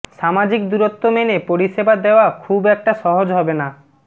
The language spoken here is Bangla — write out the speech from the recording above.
সামাজিক দূরত্ব মেনে পরিষেবা দেওয়া খুব একটা সহজ হবে না